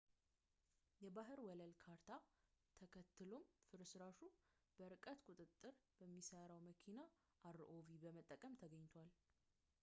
የባህር ወለል ካርታ ተከትሎም ፍርስራሹ በርቀት ቁጥጥር በሚሰራ መኪና rov በመጠቀም ተገኝቷል